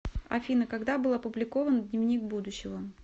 афина когда был опубликован дневник будущего